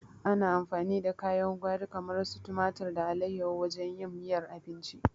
Ana amfani da kayan gwari kamar su tumari da alaiyahu wajen yin miyar abinci